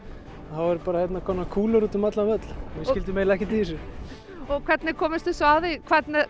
þá voru bara kúlur úti um allan völl við skildum eiginlega ekkert í þessu og hvernig komust þið svo að því hvernig